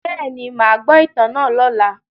Bẹ́ẹ̀ni, màá gbọ́ ìtàn náà lọ́la.